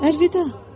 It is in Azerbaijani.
Əlvida!